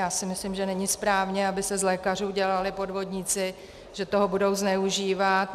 Já si myslím, že není správně, aby se z lékařů dělali podvodníci, že toho budou zneužívat.